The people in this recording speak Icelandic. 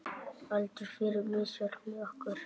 Aldur fer misvel með okkur.